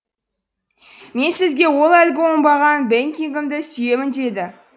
мен сізге ол әлгі оңбаған бекингэмді сүйемін деймін